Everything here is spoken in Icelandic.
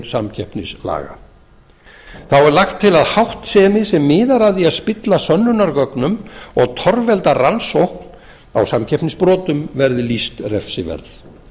samkeppnislaga þá er lagt til að háttsemi sem miðar að því að spilla sönnunargögnum og torvelda rannsókn á samkeppnisbrotum verði lýst refsiverð